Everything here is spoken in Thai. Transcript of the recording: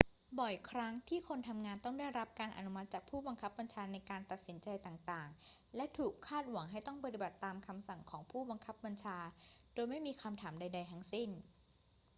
บ่อยครั้งที่คนทำงานต้องได้รับการอนุมัติจากผู้บังคับบัญชาในการตัดสินใจต่าง ๆ และถูกคาดหวังให้ต้องปฏิบัติตามคำสั่งของผู้บังคับบัญชาโดยไม่มีคำถามใด ๆ ทั้งสิ้น